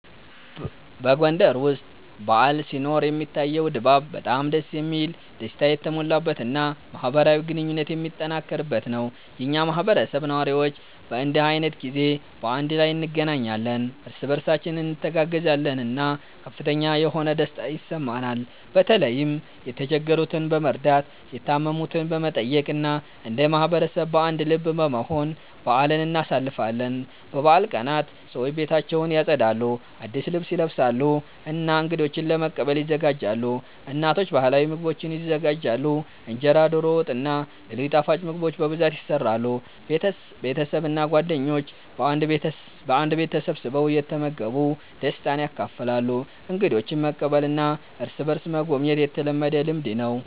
በጎንደር ውስጥ በዓል ሲኖር የሚታየው ድባብ በጣም ደስ የሚል፣ ደስታ የተሞላበት እና ማህበራዊ ግንኙነት የሚጠነክርበት ነው። የኛ ማህበረሰብ ነዋሪዎች በእንዲህ ዓይነት ጊዜ በአንድ ላይ እንገናኛለን፣ እርስ በእርሳችን እንተጋገዛለን እና ከፍተኛ የሆነ ደስታ ይሰማናል። በተለይም የተቸገሩትን በመርዳት፣ የታመሙትን በመጠየቅ እና እንደ ማህበረሰብ በአንድ ልብ በመሆን በአልን እናሳልፋለን። በበዓል ቀናት ሰዎች ቤታቸውን ያጸዳሉ፣ አዲስ ልብስ ይለብሳሉ እና እንገዶችን ለመቀበል ይዘጋጃሉ። እናቶች ባህላዊ ምግቦችን ይዘጋጃሉ፣ እንጀራ፣ ዶሮ ወጥ እና ሌሎች ጣፋጭ ምግቦች በብዛት ይሰራሉ። ቤተሰብ እና ጓደኞች በአንድ ቤት ተሰብስበው እየተመገቡ ደስታን ያካፍላሉ። እንግዶችን መቀበልና እርስ በእርስ መጎብኘት የተለመደ ልምድ ነው።